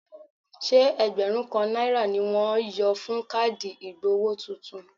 Ṣé ẹgbẹ̀rún kan náírà ni wọ́n yọ fún káàdì ìgbowó tuntun?